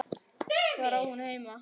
Hvar á hún heima?